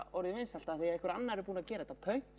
orðið vinsælt af því einhver annar er búinn að gera þetta pönk